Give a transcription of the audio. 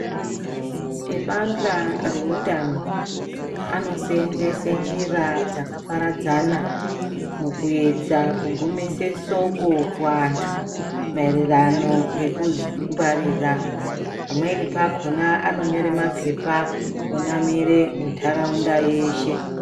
Ebandla reutano anoseenzese njira dzakaparadzana mukuedza kugumise soko kuantu maererano nekudzingwarira. Pamweni pakhona anonyore mapepa einamire muntaraunda yeshe.